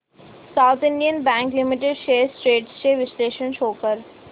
south Indian bank limited shares trends चे विश्लेषण show कर